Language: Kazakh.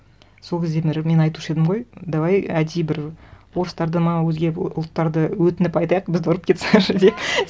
сол кезде мен айтушы едім ғой давай әдейі бір орыстарды ма өзге ұлттарды өтініп айтайық бізді ұрып кетсінші деп